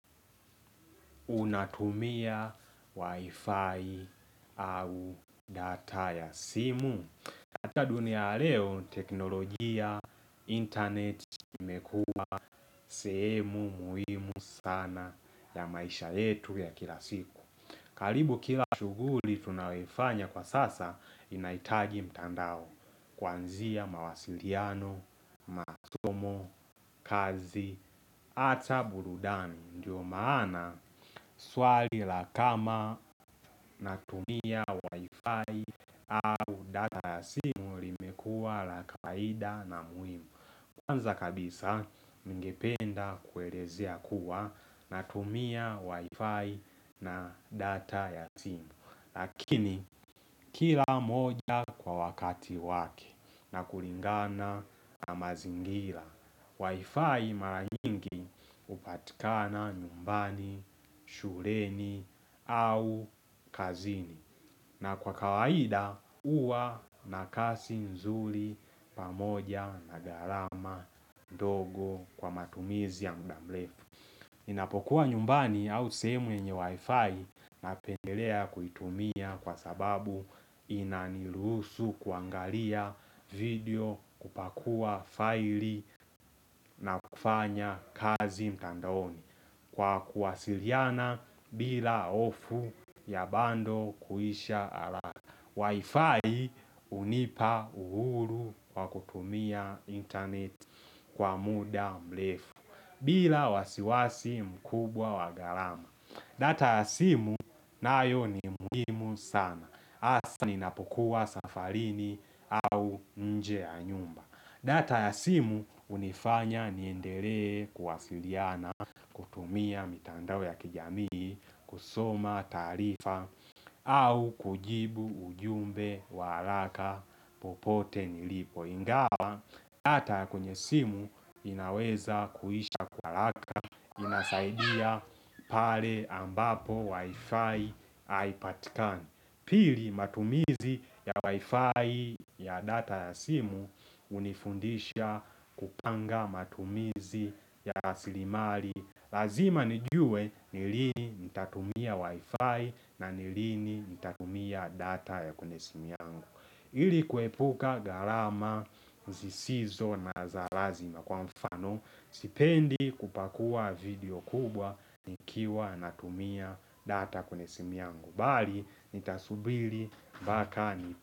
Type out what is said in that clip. Unatumia wifi au data ya simu? Katika dunia ya leo teknolojia internet imekua sehemu muhimu sana ya maisha yetu ya kila siku karibu kila shughuli tunayoifanya kwa sasa inahitaji mtandao Kwanzia mawasiliano, masomo, kazi, hata burudani Ndio maana swali la kama natumia wifi au data ya simu limekua la kawaida na muhimu Kwanza kabisa ningependa kuelezea kuwa natumia wifi na data ya simu Lakini kila moja kwa wakati wake na kulingana na mazingira Wi-Fi mara nyingi hupatikana nyumbani, shuleni au kazini na kwa kawaida huwa na kazi nzuri pamoja na gharama ndogo kwa matumizi ya muda mrefu. Ninapokuwa nyumbani au sehemu yenye wifi napendelea kuitumia kwa sababu inaniruhusu kuangalia video, kupakua file na kufanya kazi mtandaoni kwa kuwasiliana bila hofu ya bundle kuisha haraka. Wi-Fi hunipa uhuru wa kutumia internet kwa muda mrefu, bila wasiwasi mkubwa wa gharama. Data ya simu nayo ni muhimu sana, hasa ninapokuwa safarini au nje ya nyumba. Data ya simu hunifanya niendelee kuwasiliana kutumia mitandao ya kijamii kusoma taarifa au kujibu ujumbe wa haraka popote nilipo, ingawa data ya kwenye simu inaweza kuisha kwa haraka inasaidia pale ambapo wifi, haipatikani Pili matumizi ya wifi ya data ya simu hunifundisha kupanga matumizi ya asilimali. Lazima nijue ni lini nitatumia wifi na ni lini nitatumia data ya kwenye simu yangu. Ili kuepuka gharama zisizo na za lazima kwa mfano Sipendi kupakua video kubwa nikiwa natumia data kwenye simu yangu bali, nitasubiri mbaka ni.